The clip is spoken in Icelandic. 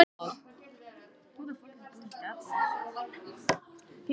Tveir rauðlaukar, annar byrjaður að spíra.